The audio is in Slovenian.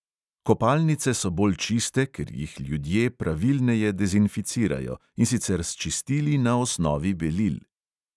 Kopalnice so bolj čiste, ker jih ljudje pravilneje dezinficirajo, in sicer s čistili na osnovi belil.